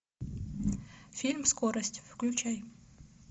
фильм скорость включай